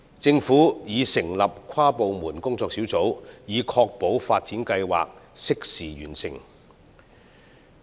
政府已成立跨部門工作小組，以確保發展計劃適時完成。